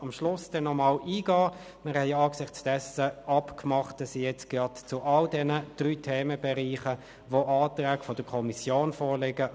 Wir kommen zum Traktandum 32, Kantonales Energiegesetz (KEnG), Änderung.